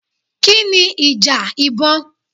Kí ni ìjà ìbọn?